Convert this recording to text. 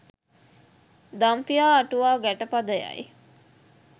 දම්පියා අටුවා ගැටපදයයි.